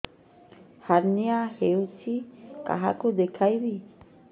hernia ହୋଇଛି କାହାକୁ ଦେଖେଇବି